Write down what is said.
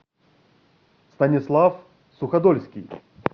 станислав суходольский